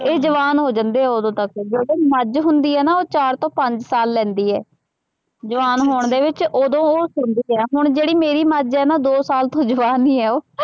ਇਹ ਜਵਾਨ ਹੋ ਜਾਂਦੇ ਆ ਉਦੋਂ ਤੱਕ, ਜਿਹੜੀ ਮੱਝ ਹੁੰਦੀ ਹੈ ਨਾ, ਉਹ ਚਾਰ ਤੋਂ ਪੰਜ ਸਾਲ ਲੈਂਦੀ ਹੈ, ਜਵਾਨ ਹੋਣ ਦੇ ਵਿੱਚ, ਉਦੋਂ ਉਹ ਸੂੰਦੀ ਹੈ, ਹੁਣ ਜਿਹੜੀ ਮੇਰੀ ਮੱਝ ਹੈ ਨਾ ਦੋ ਸਾਲ ਤੋਂ ਜਵਾਨ ਹੀ ਹੈ ਉਹ,